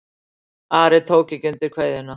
Ari tók ekki undir kveðjuna.